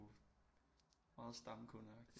Meget stamkundeagtigt